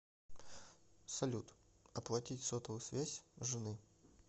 салют оплатить сотовую связь жены